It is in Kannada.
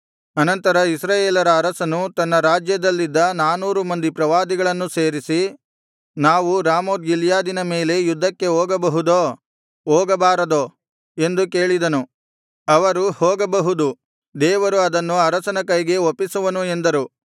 ಅನಂತರ ಇಸ್ರಾಯೇಲರ ಅರಸನು ತನ್ನ ರಾಜ್ಯದಲ್ಲಿದ್ದ ನಾನೂರು ಮಂದಿ ಪ್ರವಾದಿಗಳನ್ನು ಸೇರಿಸಿ ನಾವು ರಾಮೋತ್ ಗಿಲ್ಯಾದಿನ ಮೇಲೆ ಯುದ್ಧಕ್ಕೆ ಹೋಗಬಹುದೋ ಹೋಗಬಾರದೋ ಎಂದು ಕೇಳಿದನು ಅವರು ಹೋಗಬಹುದು ದೇವರು ಅದನ್ನು ಅರಸನ ಕೈಗೆ ಒಪ್ಪಿಸುವನು ಎಂದರು